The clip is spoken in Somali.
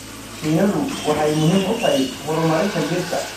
Shinnidu waxay muhiim u tahay horumarinta dhirta.